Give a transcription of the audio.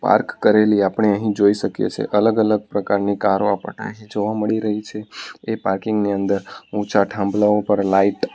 park કરેલી આપણે અહીં જોઈ શકીએ છે અલગ અલગ પ્રકારની કારો આપણને જોવા મળી રહી છે એ પાર્કિંગની અંદર ઊંચા થાંભલાઓ પર લાઈટ --